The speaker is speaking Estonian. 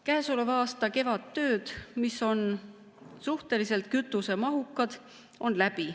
Käesoleva aasta kevadtööd, mis on suhteliselt kütusemahukad, on läbi.